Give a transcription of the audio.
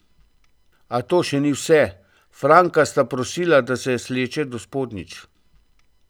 A to še ni vse, Franka sta prosila, da se sleče do spodnjic.